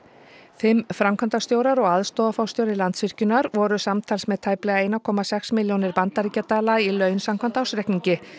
fimm framkvæmdastjórar og aðstoðarforstjóri Landsvirkjunar voru samtals með tæplega einum komma sex milljónir bandaríkjadala í laun samkvæmt ársreikningi